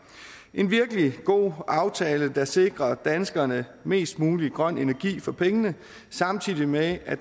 en virkelig god aftale der sikrer danskerne mest mulig grøn energi for pengene samtidig med at